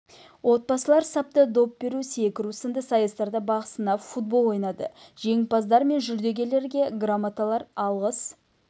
отбасылар сапта доп беру секіру сынды сайыстарда бақ сынап футбол ойнады жеңімпаздар мен жүлдегерлерге грамоталар алғыс